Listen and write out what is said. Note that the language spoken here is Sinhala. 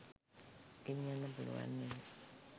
ගෙනියන්න පුලුවන් නෙව